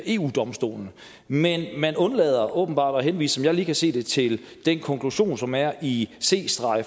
eu domstolen men man undlader åbenbart at henvise som jeg lige kan se det til den konklusion som er i c